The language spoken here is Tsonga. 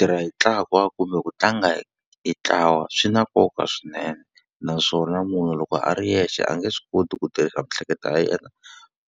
Tirha hi ntlawa kumbe ku tlanga hi hi ntlawa swi na nkoka swinene, naswona munhu loko a ri yexe a nge swi koti ku tirhisa miehleketo ya yena